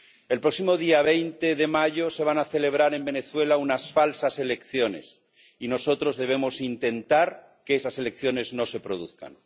El próximo día 20 de mayo se van a celebrar en Venezuela unas falsas elecciones, y nosotros debemos intentar que esas elecciones no se produzcan.